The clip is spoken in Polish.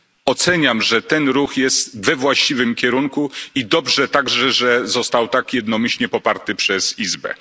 Oceniam, że to jest ruch we właściwym kierunku i dobrze także, że został tak jednomyślnie poparty przez izbę.